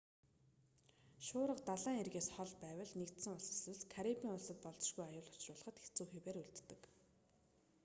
шуурга далайн эргээс хол байвал нэгдсэн улс эсвэл карибын улсад болзошгүй аюул учруулахад хэцүү хэвээр үлддэг